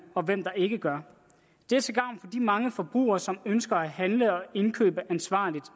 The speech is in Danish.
og hvem der ikke gør det er til gavn for de mange forbrugere som ønsker at handle og købe ansvarligt